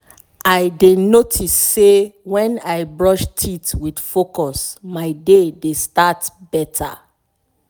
i i dey notice say when i brush teeth with focus my day dey start better.